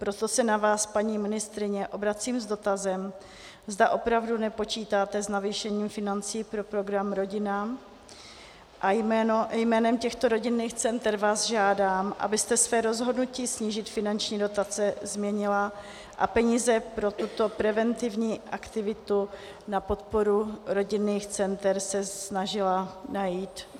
Proto se na vás, paní ministryně, obracím s dotazem, zda opravdu nepočítáte s navýšením financí pro program Rodina, a jménem těchto rodinných center vás žádám, abyste své rozhodnutí snížit finanční dotace změnila a peníze pro tuto preventivní aktivitu na podporu rodinných center se snažila najít.